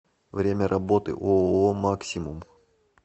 время работы ооо максимум